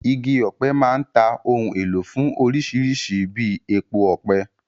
Igi ọ̀pẹ máa ń ta ohun èlò fún orísìírísìí bíi epo ọ̀pẹ.